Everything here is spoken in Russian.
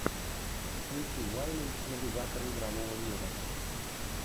включи вайны навигатора игрового мира